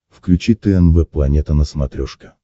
включи тнв планета на смотрешке